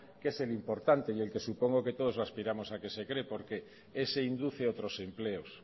que es el importante y el que supongo que todos aspiramos a que se cree porque ese induce otros empleos